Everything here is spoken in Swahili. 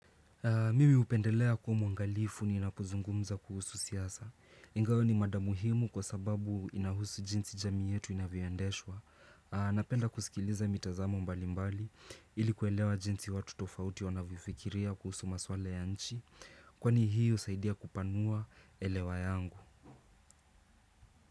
Mimi hupendelea kuwa mwangalifu ninapo zungumza kuhusu siasa. Ingawa ni mada muhimu kwa sababu inahusu jinsi jamii yetu inavyo endeshwa. Napenda kusikiliza mitazamo mbali mbali ili kuelewa jinsi watu tofauti wanavifikiria kuhusu maswale ya nchi. Kwani hii husaidia kupanua elewa yangu.